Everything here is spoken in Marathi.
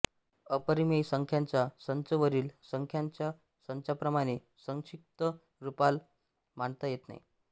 अपरिमेय संख्यांचा संच वरील संख्यांच्या संचांप्रमाणे संक्षिप्त रुपात मांडता येत नाही